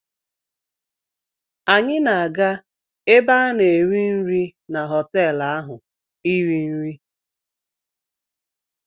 Anyị na-aga ebe a na-eri nri na họtelụ ahụ iri nri.